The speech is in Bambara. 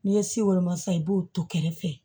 N'i ye si woloma san i b'o to kɛrɛfɛ